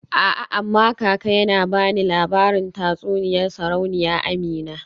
A'a amma kaka yana bani labarin tatsuniyar Sarauniya Amina.